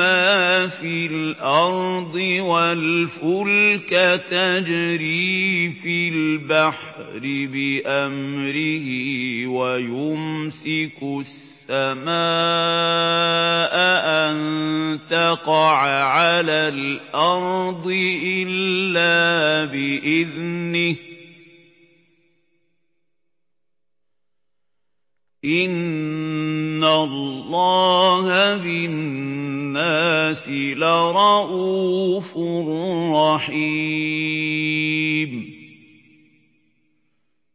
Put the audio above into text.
مَّا فِي الْأَرْضِ وَالْفُلْكَ تَجْرِي فِي الْبَحْرِ بِأَمْرِهِ وَيُمْسِكُ السَّمَاءَ أَن تَقَعَ عَلَى الْأَرْضِ إِلَّا بِإِذْنِهِ ۗ إِنَّ اللَّهَ بِالنَّاسِ لَرَءُوفٌ رَّحِيمٌ